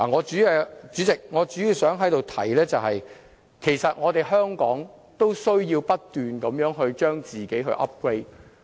主席，我主要想在這裏提出，其實香港都需要不斷將自己 upgrade。